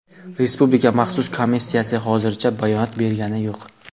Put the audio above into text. Respublika maxsus komissiyasi hozircha bayonot bergani yo‘q.